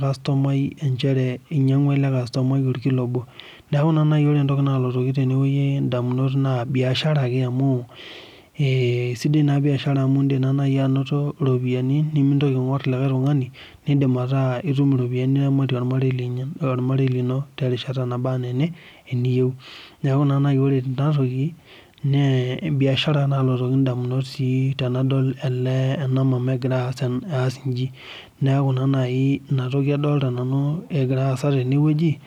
kastomai njere inyangua ele kastomai olkilo obo Niaku ina naa nai ore entoki naalotoki indamunot naa biashara ake amu sidai naa biahara amu iindim na nai anoto iropiani nimintoki aing'ur likai tungani niidim ataa itum iropiani niramatie olarei lino terishata naba enaa eniyieu niaku naa nai ore enatoki naa biashara naalotoki ndamunot sii tenadol ena mama egira aas inji neaku ina toki adolita nanu egira aasa tenewueji